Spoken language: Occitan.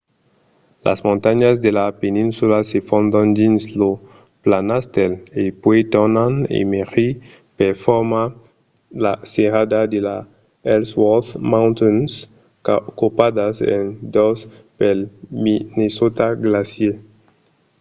las montanhas de la peninsula se fondon dins lo planastèl e puèi tornan emergir per formar la serrada de las ellsworth mountains copadas en dos pel minnesota glacier